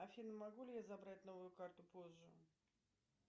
афина могу ли я забрать новую карту позже